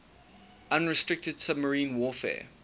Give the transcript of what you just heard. unrestricted submarine warfare